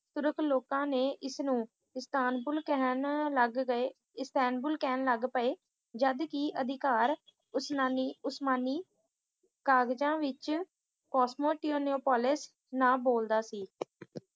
ਤੁਰਕ ਲੋਕਾਂ ਨੇ ਇਸਨੂੰ ਇਸਤਾਂਬੁਲ ਕਹਿਣ ਲੱਗ ਗਏ ਇਸਤਾਂਬੁਲ ਕਹਿਣ ਲੱਗ ਪਏ ਜਦ ਕਿ ਅਧਿਕਾਰ ਉਸਨਾਮਿ ਉਸਮਾਨੀ ਕਾਗਜ਼ਾਂ ਵਿੱਚ ਕੋਸਮੋਟਨੋਪੋਲਿਸ ਨਾਮ ਬੋਲਦਾ ਸੀ